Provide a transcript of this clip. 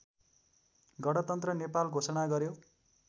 गणतन्त्र नेपाल घोषणा गर्‍यो